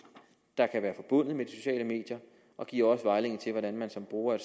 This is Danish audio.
der kan være forbundet med de sociale medier og giver også vejledning til hvordan man som bruger af